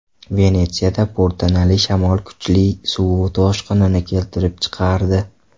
Venetsiyada po‘rtanali shamol kuchli suv toshqinini keltirib chiqardi.